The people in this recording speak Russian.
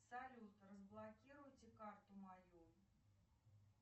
салют разблокируйте карту мою